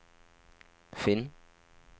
finn